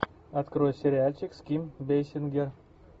открой сериальчик с ким бейсингер